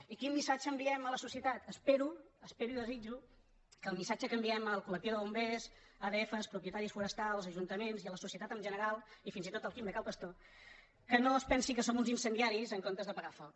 i quin missatge enviem a la societat espero ho es·pero i ho desitjo que el missatge que enviem al col·lectiu de bombers adf propietaris forestals ajunta·ments i a la societat en general i fins i tot al quim de cal pastor que no es pensin que som uns incendiaris en comptes d’apagar foc